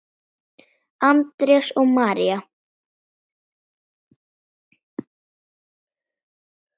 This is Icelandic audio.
Andrés og María.